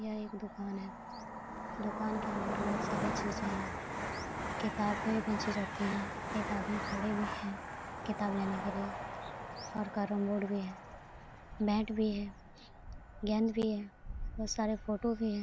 यहाँ एक दुकान है। दुकान के अंदर बोहोत सारी चीज है। किताबे पीछे रखी है। एक आदमी खड़े हुए हैं कितब लेने के लिए और कैरम बोर्ड भी है मैट भी है गेंद भी है बोहोत सारे फोटो भी है।